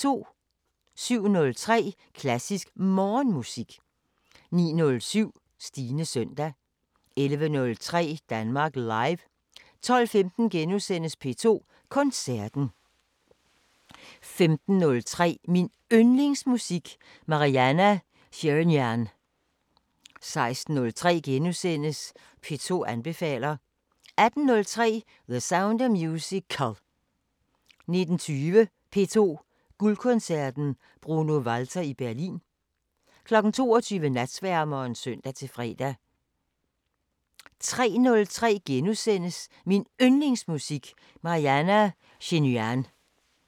07:03: Klassisk Morgenmusik 09:07: Stines søndag 11:03: Danmark Live 12:15: P2 Koncerten * 15:03: Min Yndlingsmusik: Marianna Shirinyan 16:03: P2 anbefaler * 18:03: The Sound of Musical 19:20: P2 Guldkoncerten: Bruno Walter i Berlin 22:00: Natsværmeren (søn-fre) 03:03: Min Yndlingsmusik: Marianna Shirinyan *